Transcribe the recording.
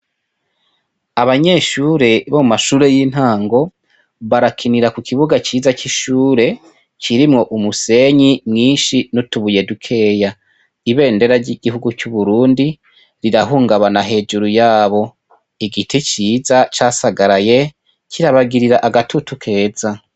Abanyeshure bo mashure y'intango barakinira ku kibuga ciza c'ishure kirimwo umusenyi mwinshi n'utubuyedukeya ibendera ry'igihugu c'uburundi rirahungabana hejuru yabo igiti ciza casagaraye kirabagirira agatutu keza.